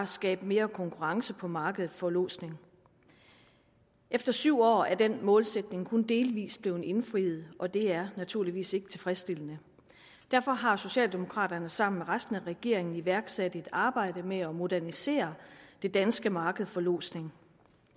skabe mere konkurrence på markedet for lodsning efter syv år er den målsætning kun delvis blevet indfriet og det er naturligvis ikke tilfredsstillende derfor har socialdemokraterne sammen med resten af regeringen iværksat et arbejde med at modernisere det danske marked for lodsning